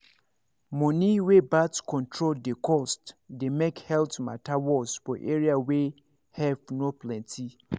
money wey birth control dey cost dey make health matter worse for area wey help no plenty